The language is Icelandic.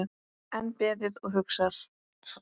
Enn beðið og hugsað